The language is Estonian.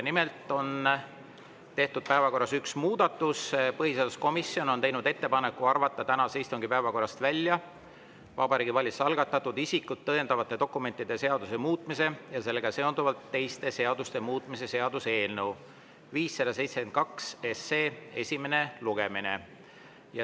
Nimelt on tehtud päevakorras üks muudatus: põhiseaduskomisjon on teinud ettepaneku arvata tänase istungi päevakorrast välja Vabariigi Valitsuse algatatud isikut tõendavate dokumentide seaduse muutmise ja sellega seonduvalt teiste seaduste muutmise seaduse eelnõu 572 esimene lugemine.